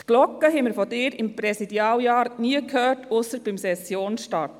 Die Glocke hörten wir von Ihnen während Ihres Präsidialjahrs nie, ausgenommen beim Sessionsstart.